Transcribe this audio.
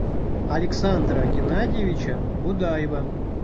александра геннадьевича будаева